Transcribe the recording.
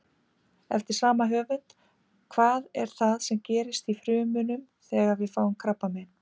Eftir sama höfund: Hvað er það sem gerist í frumunum þegar við fáum krabbamein?